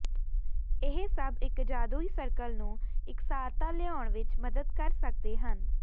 ਇਹ ਸਭ ਇੱਕ ਜਾਦੂਈ ਸਰਕਲ ਨੂੰ ਇਕਸਾਰਤਾ ਲਿਆਉਣ ਵਿੱਚ ਮਦਦ ਕਰ ਸਕਦੇ ਹਨ